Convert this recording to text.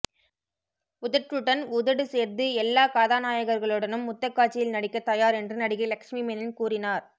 உதட்டுடன் உதடு சேர்த்து எல்லா கதாநாயகர்களுடனும் முத்தக்காட்சியில் நடிக்க தயார் என்று நடிகை லட்சுமி மேனன் கூறினார்